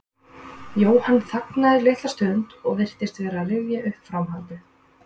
Jóhann þagnaði litla stund og virtist vera að rifja upp framhaldið.